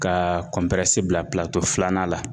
Ka bila filanan la